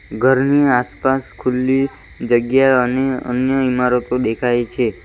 ઘરની આસપાસ ખુલ્લી જગ્યા અને અન્ય ઈમારતો દેખાય છે.